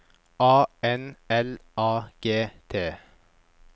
A N L A G T